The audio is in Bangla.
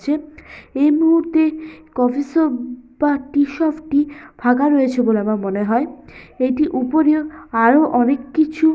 যেট এই মুহূর্তে কফি শপ বা টি শপটি ফাঁকা রয়েছে বলে আমার মনে হয়। এটির উপরিয় আরো অনেক কিছু --